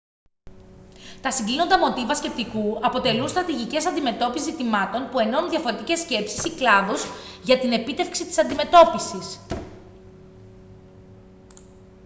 τα συγκλίνοντα μοτίβα σκεπτικού αποτελούν στρατηγικές αντιμετώπισης ζητημάτων που ενώνουν διαφορετικές σκέψεις ή κλάδους για την επίτευξη της αντιμετώπισης